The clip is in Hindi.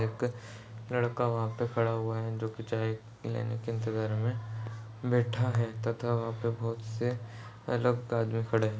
एक लड़का वहाँ पे खड़ा हुआ है जो के चाय लेने के इंतज़ार में बैठा है तथा वहाँ पे बहुत से लोग बाद में खड़े है ।